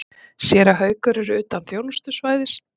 Séra Haukur er utan þjónustusvæðis.